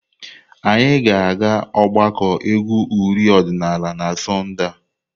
Anyị na-aga ogbako egwu uri odinala na Sọnde a.